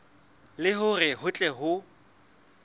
le hore ho tle ho